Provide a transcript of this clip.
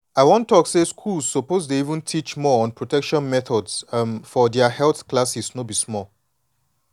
i wan talk say schools suppose dey even teach more on protection methods um for their health classes no be small.